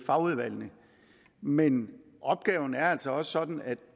fagudvalgene men opgaven er altså også sådan at